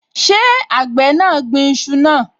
Ṣé àgbẹ̀ náà gbin iṣu náà?